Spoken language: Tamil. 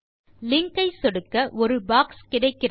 லிங்க் ஐ சொடுக்க ஒரு பாக்ஸ் கிடைக்கிறது